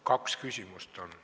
Kaks küsimust on.